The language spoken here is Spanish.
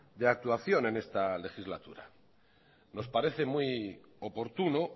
de actuación en esta legislatura nos parece muy oportuno